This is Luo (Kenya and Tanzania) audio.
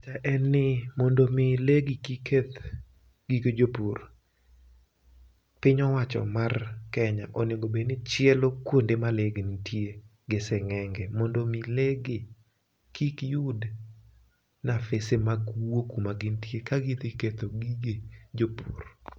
Pacha en ni mondo mi legi kik keth gige jopur, piny owacho mar Kenya onego bed ni chielo kuonde ma le gi nitie gi sing'enge mondo mi le gi kik yud nafese mag wuok kuma gintie kadhi ketho gige jopur.